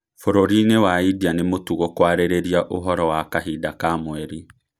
Bũrũrinĩ Wa India nĩ mũtũgo kwarĩrĩria ũhoro Wa kahinda ka mweri